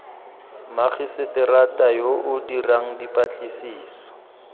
magiseterata yo o dirang dipatlisiso